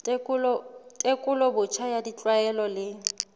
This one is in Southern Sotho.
tekolo botjha ya ditlwaelo le